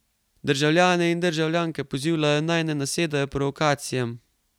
Državljane in državljanke pozivajo, naj ne nasedajo provokacijam.